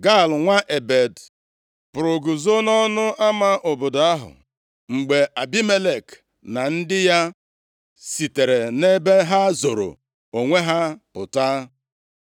Gaal nwa Ebed pụrụ guzo nʼọnụ ama obodo ahụ mgbe Abimelek na ndị ya sitere nʼebe ha zoro onwe ha pụta.